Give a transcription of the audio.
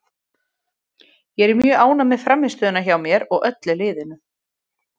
Ég er mjög ánægð með frammistöðuna hjá mér og öllu liðinu.